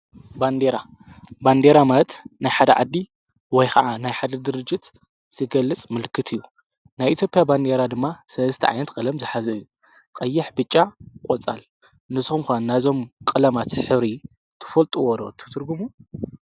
ባንዴራ፡- ባንዴራ ማለት ናይ ሓደ ዓዲ ወይ ኸዓ ናይ ሓደ ድርጅት ዝገልጽ ምልክት እዩ፡፡ ናይ ኢትዮጵያ ባንዴራ ድማ ሰስተ ዓይነት ቀለም ዝሓዘ አዩ፡፡ ቐይሕ ፣ብጫ፣ ቖጻል፡፡ ንስኹም ኸ ናይዞም ቀለማት ሕብሪ ትፈልጥዎ ዶ ትትርግሙ?